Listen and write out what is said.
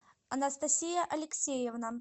анастасия алексеевна